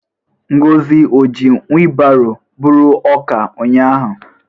Ngozi o ji wilbaro buru ọka ụnyahụ?